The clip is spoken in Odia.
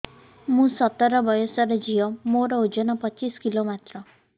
ମୁଁ ସତର ବୟସର ଝିଅ ମୋର ଓଜନ ପଚିଶି କିଲୋ ମାତ୍ର